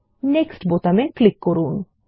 next বাটনে click করুন